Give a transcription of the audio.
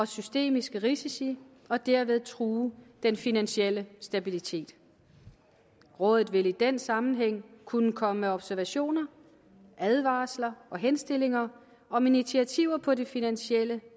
systemiske risici og dermed true den finansielle stabilitet rådet vil i den sammenhæng kunne komme med observationer advarsler og henstillinger om initiativer på det finansielle